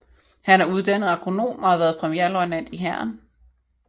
Han er uddannet agronom og har været premierløjtnant i Hæren